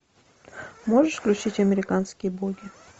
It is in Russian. можешь включить американские боги